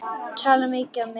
Tala mikið á meðan.